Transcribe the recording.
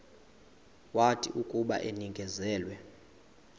wathi akuba enikezelwe